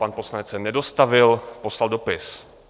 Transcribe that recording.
Pan poslanec se nedostavil, poslal dopis.